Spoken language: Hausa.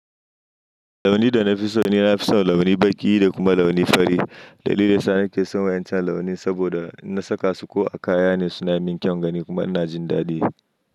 Launi da na fi so ni, na fi son launi baƙi da kuma launi fari. Dalilin sa ni ke son wa'incan launi saboda na saka su ko a kaya ne suna min kyaun gani kuma ina jin dadi.